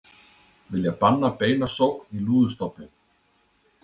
Vilja banna beina sókn í lúðustofninn